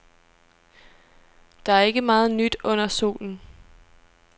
Der er ikke meget nyt under solen.